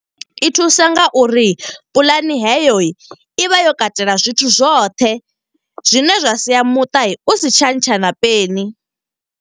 I thusa nga uri puḽani heyo, i vha yo katela zwithu zwoṱhe. Zwine zwa sia muṱa u si tsha ntsha na peni.